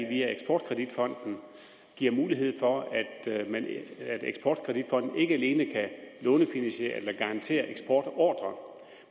via eksport kredit fonden giver mulighed for at eksport kredit fonden ikke alene kan lånefinansiere eller garantere eksportordrer